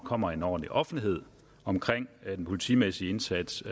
kommer en ordentlig offentlighed omkring den politimæssige indsats